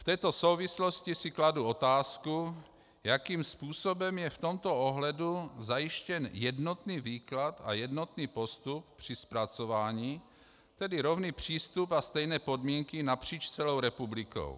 V této souvislosti si kladu otázku, jakým způsobem je v tomto ohledu zajištěn jednotný výklad a jednotný postup při zpracování, tedy rovný přístup a stejné podmínky napříč celou republikou.